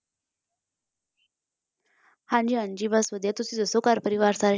ਹਾਂਜੀ ਹਾਂਜੀ ਬਸ ਵਧੀਆ ਤੁਸੀਂ ਦੱਸੋ ਘਰ ਪਰਿਵਾਰ ਸਾਰੇ,